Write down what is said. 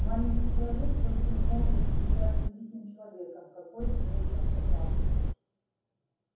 маленький человек просто не мог быть сейчас великим человеком какой мерещился травке